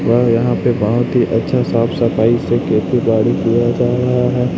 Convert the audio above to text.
वह यहाँ पे बहुत ही अच्छा साफ -सफाई से खेती बाड़ी किया जा रहा हैं।